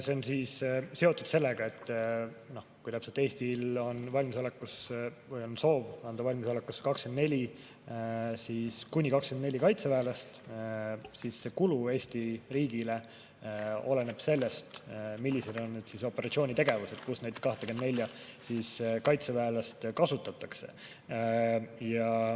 See on seotud sellega, et kui Eestil on soov anda valmisolekuks kuni 24 kaitseväelast, siis see kulu Eesti riigile oleneb sellest, millised on operatsioonitegevused, kus neid 24 kaitseväelast kasutatakse.